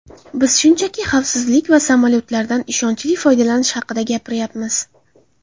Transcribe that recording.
Biz shunchaki xavfsizlik va samolyotlardan ishonchli foydalanish haqida gapiryapmiz.